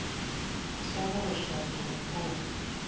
sa mo re shwato nkong